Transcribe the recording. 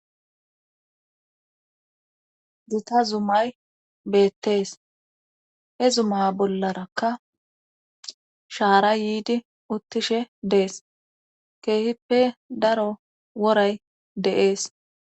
Gita zumay beettees he zuma bollarakka shaara yiidi uttishe dees keehippe daro woray deees